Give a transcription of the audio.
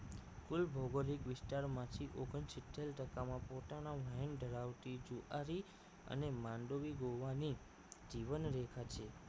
કુલ ભૌગોલિક વિસ્તારમાંથી ઓગણસિત્તેર ટકા માં પોતાનો વહેણ ધરાવતી જુઆરી અને માંડોવી ગોવાની જીવનરેખા છે